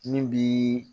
Min bi